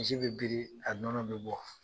Misi bɛ biri a nɔnɔ bɛ bɔ.